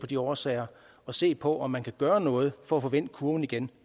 de årsager og se på om man kan gøre noget for at få vendt kurven igen